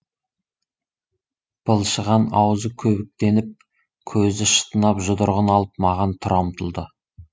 былшыған ауызы көбіктеніп көзі шытынап жұдырығын алып маған тұра ұмтылды